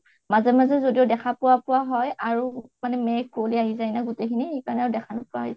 মাজে মাজে যদিও দেখা পোৱা পোৱা হয় আৰু মেঘ কুঁৱলি আহি যায় মাজত গুতেইখিনি সেইকাৰণে দেখা নাপাই